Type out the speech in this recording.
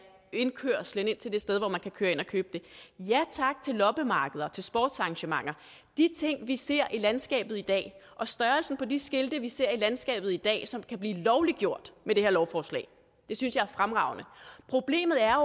indkørslen ind til det sted hvor man kan køre ind og købe det ja tak til loppemarkeder til sportsarrangementer de ting vi ser i landskabet i dag og størrelsen på de skilte vi ser i landskabet i dag som kan blive lovliggjort med det her lovforslag synes jeg er fremragende problemet er